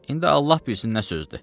İndi Allah bilsin nə sözdür.